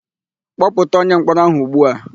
Kpọpụta onyemkpọrọ áhụ̀ ugbu a!